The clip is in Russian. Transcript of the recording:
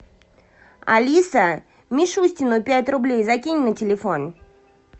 алиса мишустину пять рублей закинь на телефон